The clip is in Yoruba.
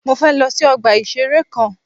Mọ fẹ lọ sí ọgbà ìṣẹ̀rẹ́ kan.